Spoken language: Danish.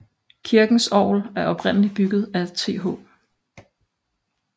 Kirkens orgel er oprindeligt bygget af TH